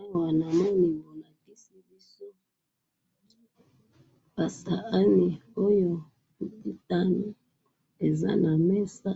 awa namoni bolakisi biso ba sahani oyo ekitani eza na mesa